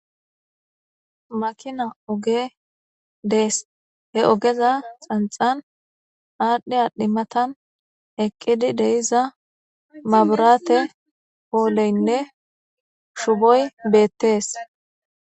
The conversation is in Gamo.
Makinay ogee dees. He ogeza xancxan aadhi aadhi matan eqqidi de7iza mabiraate pooleynne shuboy beetees.